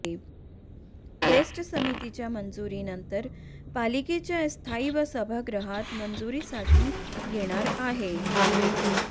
best समितीच्या मंजुरीनंतर पालिकेच्या स्थायी व सभागृहात मंजुरीसाठी येणार आहे